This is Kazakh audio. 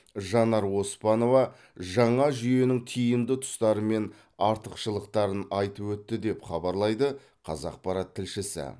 жанар оспанова жаңа жүйенің тиімді тұстары мен артықшылықтарын айтып өтті деп хабарлайды қазақпарат тілшісі